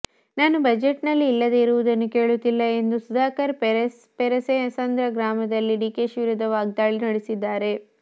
ನಾನು ಬಜೆಟ್ನಲ್ಲಿ ಇಲ್ಲದೆ ಇರುವುದನ್ನು ಕೇಳುತ್ತಿಲ್ಲ ಎಂದು ಸುಧಾಕರ್ ಪೇರೇಸಂದ್ರ ಗ್ರಾಮದಲ್ಲಿ ಡಿಕೆಶಿ ವಿರುದ್ಧ ವಾಗ್ದಾಳಿ ನಡೆಸಿದ್ದಾರೆ